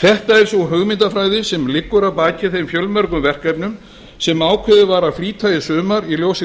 þetta er sú hugmyndafræði sem liggur að baki þeim fjölmörgu verkefnum sem ákveðið var að flýta í sumar í ljósi